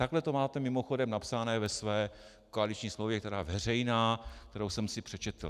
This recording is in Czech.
Takhle to máte mimochodem napsané ve své koaliční smlouvě, která je veřejná, kterou jsem si přečetl.